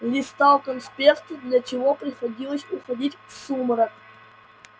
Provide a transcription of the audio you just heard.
листал конспекты для чего приходилось уходить в сумрак